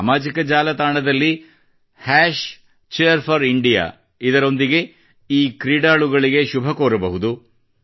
ಸಾಮಾಜಿಕ ಜಾಲತಾಣದಲ್ಲಿ Cheer4India ನೊಂದಿಗೆ ಈ ಕ್ರೀಡಾಳುಗಳಿಗೆ ಶುಭಕೋರಬಹುದು